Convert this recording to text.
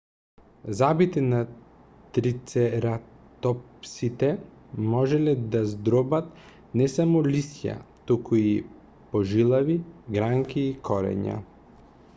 забите на трицератопсите можеле да здробат не само лисја туку и пожилави гранки и корења